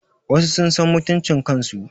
Wasu sun san mutuncin kan su